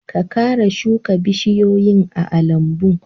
Ka kara shuka bishiyoyi a almbun!